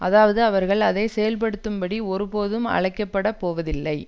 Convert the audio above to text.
அதாவது அவர்கள் அதை செயல்படுத்தும்படி ஒருபோதும் அழைக்கப்படப் போவதில்லை